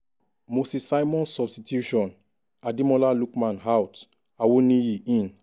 moses simon substitution' ademola lookman out awoniyi in. um